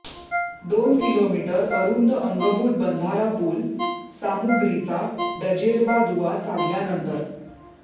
दोन किलोमीटर अरुंद अंगभूत बंधारा पूल सामुग्रीचा डजेरबा दुवा साधल्यानंतर